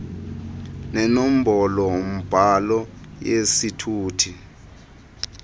nenombolo mbhalo yesithuthi